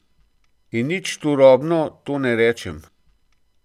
In nič turobno to ne rečem.